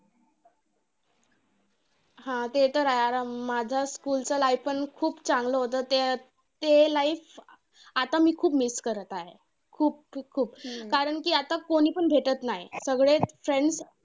हा! ते तर आहे. माझं school चं life पण खूप चांगलं होतं. ते अं ते life आता मी ते खूप miss करत आहे. खूप खूप खूप. कारण आता कोणीपण भेटत नाही. सगळेच friends